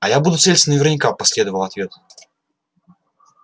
а я буду целиться наверняка последовал ответ